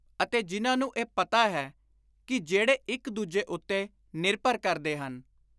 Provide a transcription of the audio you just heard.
ਅਤੇ ਜਿਨ੍ਹਾਂ ਨੂੰ ਇਹ ਪਤਾ ਹੈ ਕਿ ਜਿਹੜੇ ਇਕ ਦੁਜੇ ਉੱਤੇ ਨਿਰਭਰ ਕਰਦੇ ਹਨ,